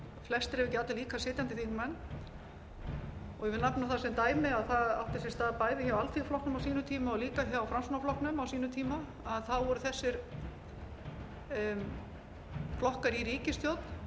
flestir ef ekki allir baka sitjandi þingmenn og ég vil nefna það sem dæmi að það átti sér stað hjá alþýðuflokknum á sínum tíma og líka hjá framsóknarflokknum á sínum tíma þá voru þessir flokkar í ríkisstjórn